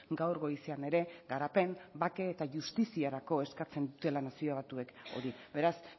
gaur goizean ere garapen bake eta justiziarako eskatzen dutela nazio batuek hori beraz